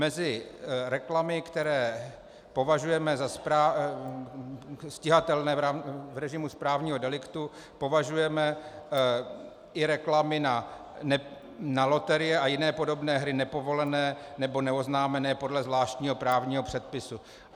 Mezi reklamy, které považujeme za stíhatelné v režimu správního deliktu, považujeme i reklamy na loterie a jiné podobné hry nepovolené nebo neoznámené podle zvláštního právního předpisu.